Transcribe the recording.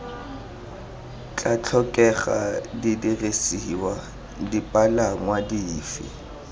tla tlhokega didirisiwa dipalangwa dife